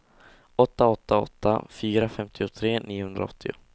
åtta åtta åtta fyra femtiotre niohundraåttio